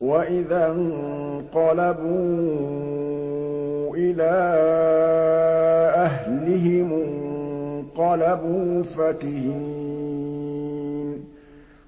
وَإِذَا انقَلَبُوا إِلَىٰ أَهْلِهِمُ انقَلَبُوا فَكِهِينَ